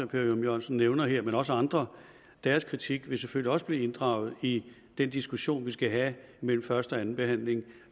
per ørum jørgensen nævner her og også andre deres kritik vil selvfølgelig også blive inddraget i den diskussion vi skal have mellem første og anden behandling